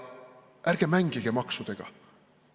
Ärge mängige maksudega.